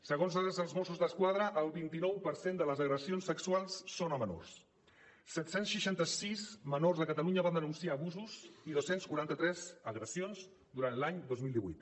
segons dades dels mossos d’esquadra el vint nou per cent de les agressions sexuals són a menors set cents i seixanta sis menors a catalunya van denunciar abusos i dos cents i quaranta tres agressions durant l’any dos mil divuit